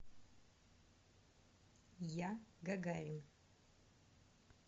я гагарин